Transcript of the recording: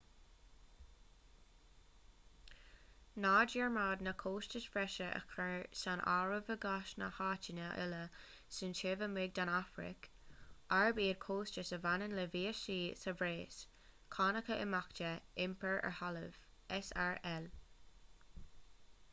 ná dearmad na costais bhreise a chur san áireamh i gcás na háiteanna uile sin taobh amuigh den afraic arb iad costais a bhaineann le víosaí sa bhreis cánacha imeachta iompar ar thalamh srl